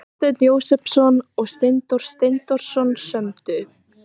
Þorsteinn Jósepsson og Steindór Steindórsson sömdu.